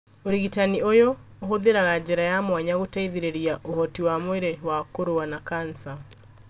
ũrigitani ũyũ ũhũthĩraga njĩra ya mwanya gũteithĩrĩria ũhoti wa mwĩrĩ wa kũrũa na kanja